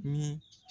Ni